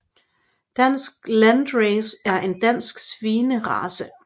Dansk Landrace er en dansk svinerace